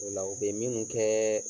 O la u be minnu kɛɛ